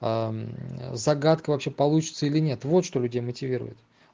загадка вообще получится или нет вот что людей мотивирует